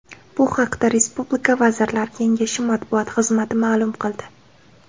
Bu haqda respublika Vazirlar Kengashi matbuot xizmati ma’lum qildi .